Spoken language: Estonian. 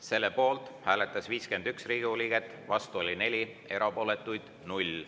Selle poolt hääletas 51 Riigikogu liiget, vastu oli 4, erapooletuid 0.